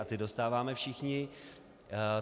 A ty dostáváme všichni.